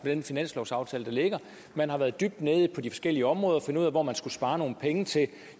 med den finanslovsaftale der ligger man har været dybt nede på de forskellige områder for at finde ud af hvor man skulle spare nogle penge til